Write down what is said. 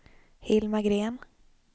Hilma Green